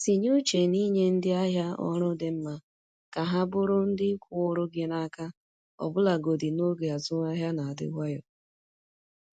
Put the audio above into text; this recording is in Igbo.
Tinye uche n’inye ndị ahịa ọrụ dị mma ka ha bụrụ ndị kwụụrụ gị n’aka ọbụlagodi n’oge azụmahịa na-adị nwayọ.